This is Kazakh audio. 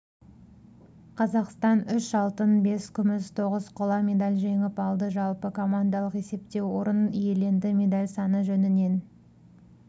қазақстанүш алтын бес күміс тоғыз қоламедаль жеңіп алды жалпы командалық есепте орын иеленді медаль саны жөнінен